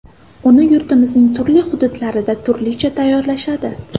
Uni yurtimizning turli hududlarida turlicha tayyorlashadi.